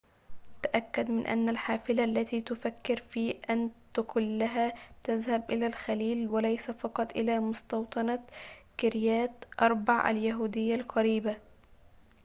تأكد من أن الحافلة التي تفكر في أن تقلها تذهب إلى الخليل وليس فقط إلى مستوطنة كريات أربع اليهودية القريبة